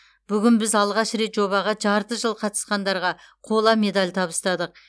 бүгін біз алғаш рет жобаға жарты жыл қатысқандарға қола медаль табыстадық